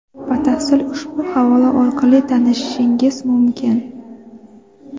Batafsil ushbu havola orqali tanishishingiz mumkin.